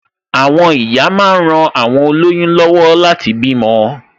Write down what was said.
Àwọn ìyá máa ń ran awon oloyun lọwọ láti bímọ